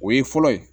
O ye fɔlɔ ye